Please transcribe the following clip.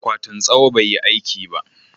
akwatin tsawo bai yi aiki ba